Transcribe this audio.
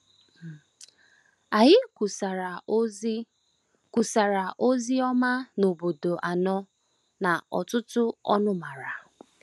Anyị kwusara ozi kwusara ozi ọma n’obodo anọ na ọtụtụ ọnụmara.